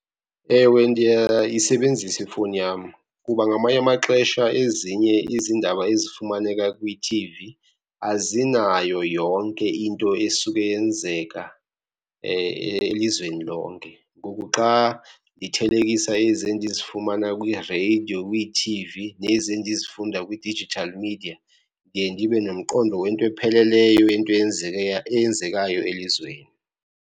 Ewe, ndiyayisebenzisa ifowuni yam kuba ngamanye amaxesha ezinye izindaba ezifumaneka kwithivi azinayo yonke into esuke yenzeka elizweni lonke. Ngoku xa ndithelekisa ezi endizifumana kwireyidiyo, kwiithivi nezi endizifunda kwi-digital media, ndiye ndibebnomqondo wento epheleleyo yento eyenzeke eyenzekayo elizweni.